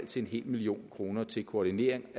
til en million kroner til koordinering